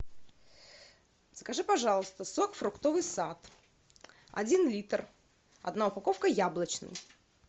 закажи пожалуйста сок фруктовый сад один литр одна упаковка яблочный